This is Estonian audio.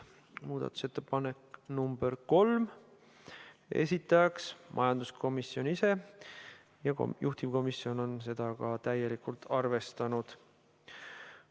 Muudatusettepanek nr 3, esitajaks majanduskomisjon ise ja juhtivkomisjon on seda ka täielikult arvestanud.